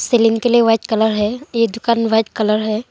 Ceiling के लिए white colour है ये दुकान व्हाइट कलर है।